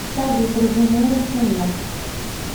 салют разумеется нет